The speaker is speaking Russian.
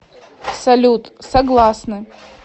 салют согласны